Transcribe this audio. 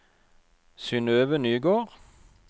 Synnøve Nygård